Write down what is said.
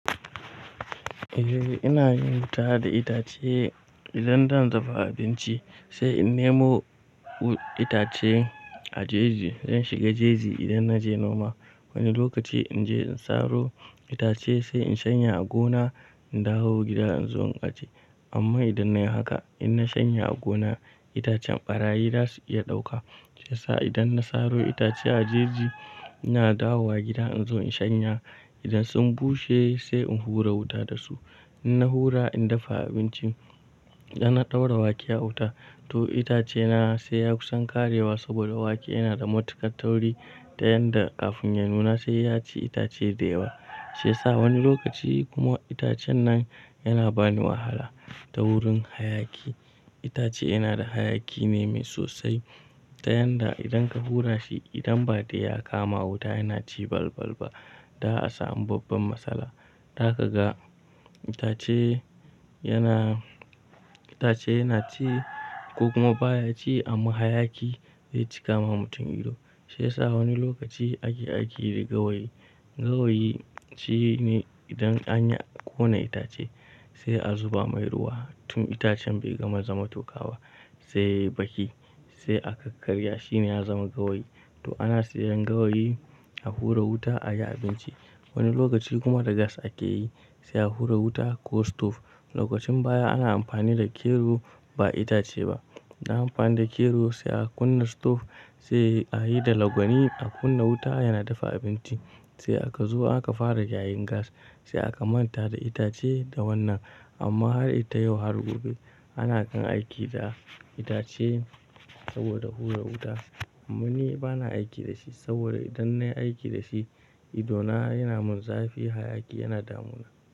Eh ina yin wuta da itace idan zan dafa abinci sai in nemo itace a jeji. Zan shiga jeji idan na je noma. Wani lokaci in je in saro itace sai in shanya a gona in dawo gida in zo in aje. Amma idan nayi haka, in na shanya a gona itacen ɓarayi za su iya ɗauka. Shi yasa idan na saro itace a jeji ina dawowa gida in zo in shanya. Idan sun bushe sai in hura wuta da su. In na hura in dafa abinci, idan na ɗaura wake a wuta to itace na sai ya kusan ƙarewa saboda wake yana da matuƙan tauri dayanda kafin ya nuna sai ya ci itace da yawa. Sai sa wani lokaci kuma itacen nan yana bani wahala ta wurin hayaki. Itace yana da hayaki ne mai sosai dayanda idan ka hura shi idan ba dai ya kama wuta yana ci balbal ba. Da asamu babban matsala. Zaka ga itace yana, itace yana ci ko kuma baya ci amma hayaki zai cika ma mutum ido. Shi yasa wani lokaci ake aiki da gawayi. Gawayi shine idan anyi ƙone itace sai a zuba mai ruwa tun itacen bai gama zama tokaba sai baki sai aka karya shine ya zama gawayi. To ana siyan gawayi a hura wuta ayi abinci. Wani lokaci kuma da gas ake yi sai a hura wuta ko stove. Lokacin baya ana amfani da kero ba itace ba. Ana amfani da kero sai a kunna stove sai a yi da lagwani a kunna wuta yana dafa abinci sai aka zo aka fara gayin gas sai aka manta da itace da wannan. Amma har ita yau har gobe ana kan aiki da itace saboda hura wuta. Amma ni bana aiki da shi saboda idan nayi aiki da shi idona yana min zafi hayaki yana damuna.